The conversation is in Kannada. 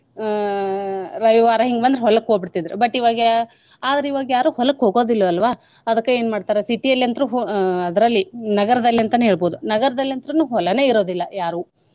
ಅಹ್ ರವಿವಾರ ಹಿಂಗ್ಬಂದ್ರ ಹೊಲಕ್ ಹೋಗ್ಬಿಡ್ತಿದ್ರ್ but ಇವಾಗ ಆದ್ರ ಇವಾಗ ಯಾರು ಹೊಲಕ್ ಹೋಗೋದಿಲ್ಲ ಅಲ್ವಾ ಅದ್ಕ ಏನ್ ಮಾಡ್ತಾರಾ city ಯಲ್ ಅಂತ್ರು ಹೋ~ ಅಂತ್ರು ಅದ್ರಲ್ಲಿ ನಗರದಲ್ಲಿ ಅಂತನೇ ಹೇಳ್ಬೋದು ನಗರ್ದಲ್ ಅಂತ್ರುನು ಹೊಲಾನೇ ಇರೂದಿಲ್ಲ ಯಾರ್ವೂ.